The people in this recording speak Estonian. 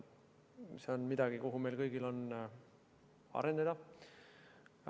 See on midagi, milleni meil kõigil tuleks arendada.